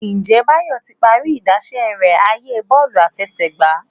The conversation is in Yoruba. Njé Bayo tí parí idáṣẹ rẹ ààyè Bọ́ọ̀lù àfẹsẹ̀gbá